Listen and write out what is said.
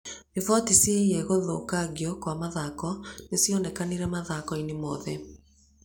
Riboti ciĩgiĩ gũthũkangio kwa mathako nĩ cionekanire mathako-inĩ mothe.